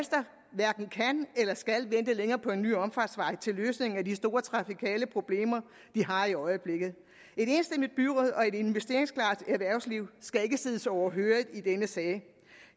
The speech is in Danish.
hverken kan eller skal vente længere på en ny omfartsvej til løsningen af de store trafikale problemer de har i øjeblikket et enstemmigt byråd og et investeringsklart erhvervsliv skal ikke siddes overhørig i denne sag